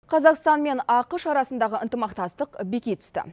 қазақстан мен ақш арасындағы ынтымақтастық беки түсті